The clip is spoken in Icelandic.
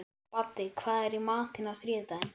Baddi, hvað er í matinn á þriðjudaginn?